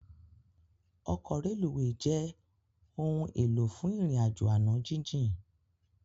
Òkò rélúwé jè óoún éló fún irin àjó àná jijin